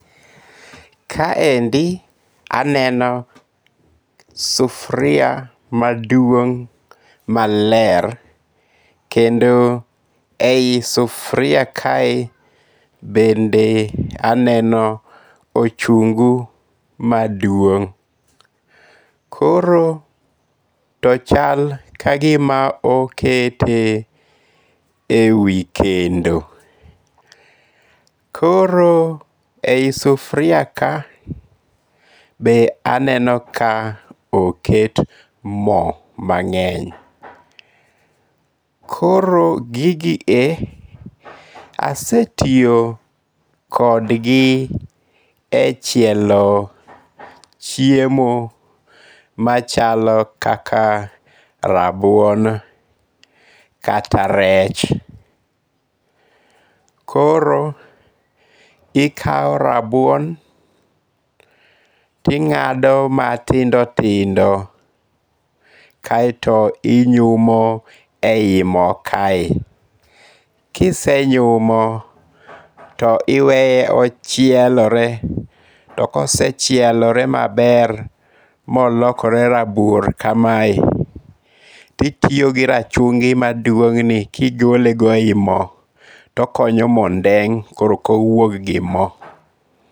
Kaendi aneno sufuria maduong' maler kendo e yi sufuria kae bende aneno ochungu maduong', koro to chal ka gima oketie e wi kendo, koro e yi sufuria ka be aneno ka oket mo mange'ny, koro gigie asetiyo kodgi e chielo chiemo machalo kaka rabuon kata rech, koro ikawo rabuon ti nga'do matindo tindo kaeto inyumo e yi mo kae, kisenyumo to iweye ochielore to kosechielore maber ma olokore rabuor kae, titiyo gi rachungi' maduong'ni kigolego e yi mo kae to okonyo mo ndeng' koro okowuog gi mo